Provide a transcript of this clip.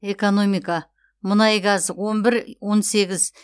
экономика мұнай газ он бір он сегіз